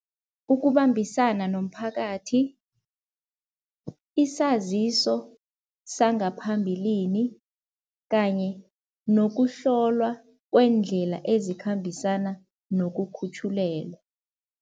Ukubambisana nomphakathi, isaziso sangaphambilini kanye nokuhlolwa kweendlela ezikhambisana nokukhutjhulelwa.